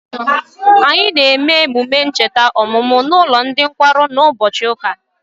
Anyị na eme emume ncheta ọmụmụ na ụlọ ndị nkwarụ na ụbọchị ụka